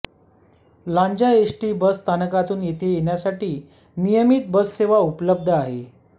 Lanja ST bus स्थानकातून येथे येण्यासाठी नियमित बससेवा उपलब्ध आहे